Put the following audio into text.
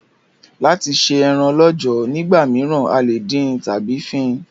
Láti se eran lọ́jọ̀ nígbà míràn, a lè dín tábí fín